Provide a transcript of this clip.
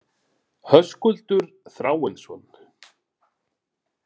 Höskuldur Þráinsson.